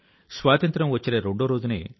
సుహాసినీం సుమధుర భాషిణీమ్